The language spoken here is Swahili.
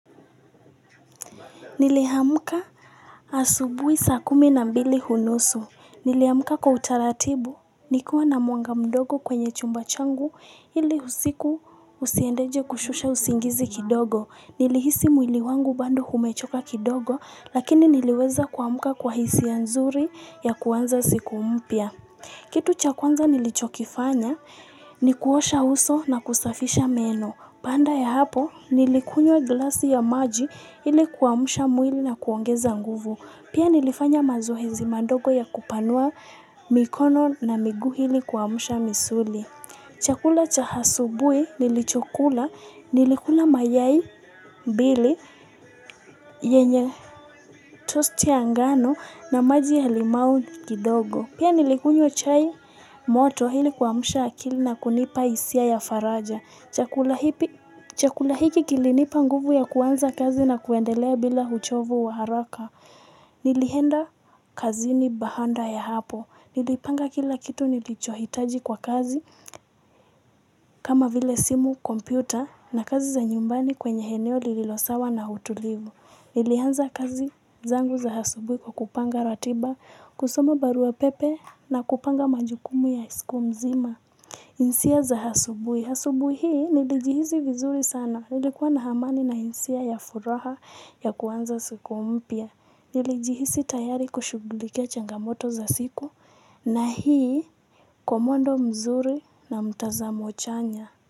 Niliamka asubuhi saa kumi na mbili unusu. Niliamka kwa utaratibu, nikiwa na mwanga mdogo kwenye chumba changu ili usiku usiendeje kushusha usingizi kidogo. Nilihisi mwili wangu bado umechoka kidogo lakini niliweza kuamka kwa hisia nzuri ya kuanza siku mpya. Kitu chakwanza nilichokifanya ni kuosha uso na kusafisha meno. Baada ya hapo nilikunywa glasi ya maji ili kuamsha mwili na kuongeza nguvu. Pia nilifanya mazoezi madogo ya kupanua mikono na miguu ili kuamsha misuli. Chakula cha asubuhi nilichokula nilikula mayai mbili yenye toast ya ngano na maji ya limau kidogo. Pia nilikunywa chai moto ili kuamsha akili na kunipa hisia ya faraja. Chakula hiki kilinipa nguvu ya kuanza kazi na kuendelea bila uchovu wa haraka. Nilienda kazini baada ya hapo. Nilipanga kila kitu nilichohitaji kwa kazi kama vile simu kompyuta na kazi za nyumbani kwenye eneo lililo sawa na utulivu. Nilianza kazi zangu za asubuhi kwa kupanga ratiba kusoma barua pepe na kupanga majukumu ya siku mzima hisia za asubuhi. Asubuhi hii nilijihisi vizuri sana nilikuwa na amani na hisia ya furaha ya kuanza siku mpya. Nilijihisi tayari kushugulikia changamoto za siku na hii kwa mwendo mzuri na mtazamo chanya.